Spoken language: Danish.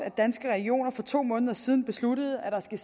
at danske regioner for to måneder siden besluttede at der skal